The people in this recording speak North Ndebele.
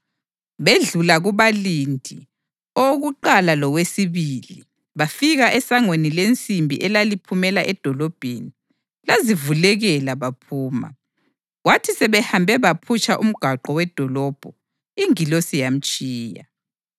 Bedlula kubalindi, owokuqala lowesibili bafika esangweni lensimbi elaliphumela edolobheni. Lazivulekela baphuma. Kwathi sebehambe baphutsha umgwaqo wedolobho, ingilosi yamtshiya.